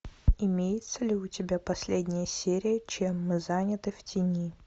имеется ли у тебя последняя серия чем мы заняты в тени